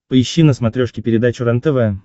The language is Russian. поищи на смотрешке передачу рентв